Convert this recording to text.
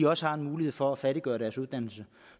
også har mulighed for at færdiggøre deres uddannelse